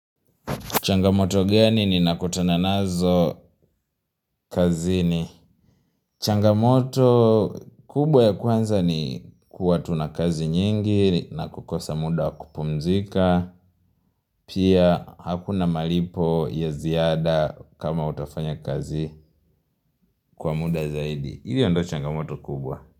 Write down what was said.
Changamoto gani ninakutana nazo kazini. Changamoto kubwa ya kwanza ni kuwa tuna kazi nyingi na kukosa muda wa kupumzika. Pia hakuna malipo ya ziada kama utafanya kazi kwa muda zaidi. Hiyo ndo changamoto kubwa.